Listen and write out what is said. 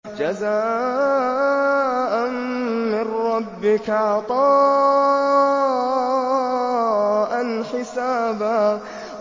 جَزَاءً مِّن رَّبِّكَ عَطَاءً حِسَابًا